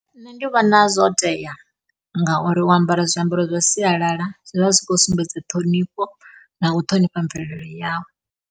Nṋe ndi vhona zwo tea ngauri u ambara zwiambaro zwa sialala zwi vha zwi khou sumbedza ṱhonifho, na u ṱhonifha mvelele yau.